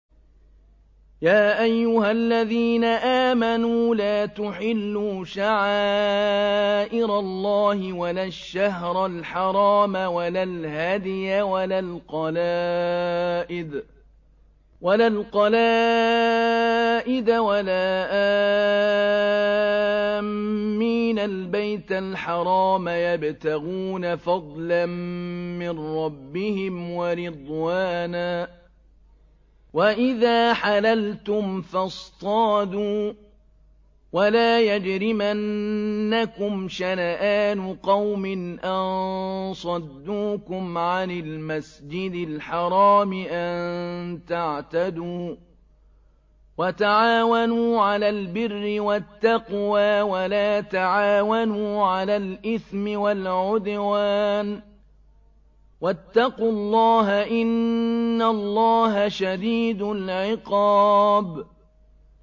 يَا أَيُّهَا الَّذِينَ آمَنُوا لَا تُحِلُّوا شَعَائِرَ اللَّهِ وَلَا الشَّهْرَ الْحَرَامَ وَلَا الْهَدْيَ وَلَا الْقَلَائِدَ وَلَا آمِّينَ الْبَيْتَ الْحَرَامَ يَبْتَغُونَ فَضْلًا مِّن رَّبِّهِمْ وَرِضْوَانًا ۚ وَإِذَا حَلَلْتُمْ فَاصْطَادُوا ۚ وَلَا يَجْرِمَنَّكُمْ شَنَآنُ قَوْمٍ أَن صَدُّوكُمْ عَنِ الْمَسْجِدِ الْحَرَامِ أَن تَعْتَدُوا ۘ وَتَعَاوَنُوا عَلَى الْبِرِّ وَالتَّقْوَىٰ ۖ وَلَا تَعَاوَنُوا عَلَى الْإِثْمِ وَالْعُدْوَانِ ۚ وَاتَّقُوا اللَّهَ ۖ إِنَّ اللَّهَ شَدِيدُ الْعِقَابِ